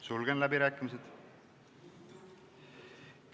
Sulgen läbirääkimised.